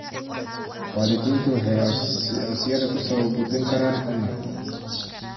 Waalidiintu waxay codsiyada ku soo gudbin karaan onlayn.